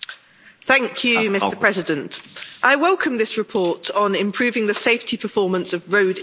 Mr President, I welcome this report on improving the safety performance of road infrastructure.